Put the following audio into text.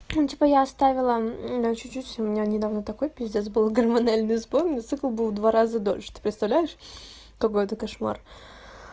ну типа я оставила чуть-чуть у меня недавно такой пиздос был гормональный сбой мотоцикл был в два раза дольше ты представляешь какой это кошмар